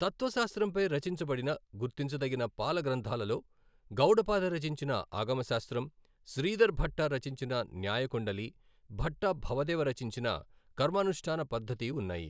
తత్వశాస్త్రంపై రచించబడిన గుర్తించదగిన పాల గ్రంథాలలో గౌడపాద రచించిన ఆగమ శాస్త్రం, శ్రీధర్ భట్ట రచించిన న్యాయ కుండలి, భట్ట భవదేవ రచించిన కర్మానుష్టాన పద్దతి ఉన్నాయి.